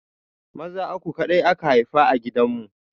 Maza uku kaɗai aka haifa a gidan mu